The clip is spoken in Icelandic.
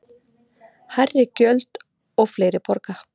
Hærri gjöld og fleiri borga